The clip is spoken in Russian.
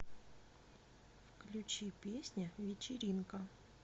включи песня вечеринка